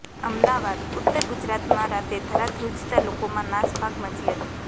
અમદાવાદઃ ઉત્તર ગુજરાતમાં રાતે ધરાધ્રુજતા લોકોમાં નાસભાગ મચી હતી